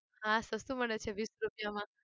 હા સસ્તું મળે છે વીસ રૂપિયામાં